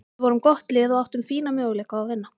Við vorum gott lið og áttum fína möguleika á að vinna.